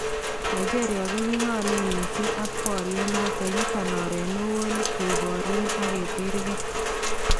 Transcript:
Nigeria ko yikoimaak missing ak baryeet noton , yuton oroot newoon kokebaryeen ak keterkee